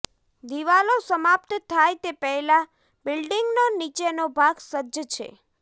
દિવાલો સમાપ્ત થાય તે પહેલાં બિલ્ડિંગનો નીચેનો ભાગ સજ્જ છે